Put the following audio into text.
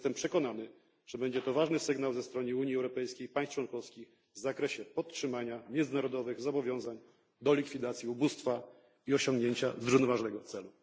Jestem przekonany, że będzie to ważny sygnał ze strony Unii Europejskiej i państw członkowskich w zakresie podtrzymania międzynarodowych zobowiązań do likwidacji ubóstwa i osiągnięcia celów zrównoważonego rozwoju.